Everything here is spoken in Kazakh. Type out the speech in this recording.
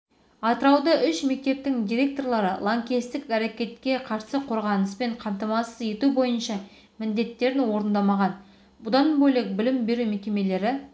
қазақстандық боксшы мексикалық сауль канело альвареспен жекпе-жек спорт жолында соңғы кездесуі болуы мүмкін екенін жасырмады жекпе-жектен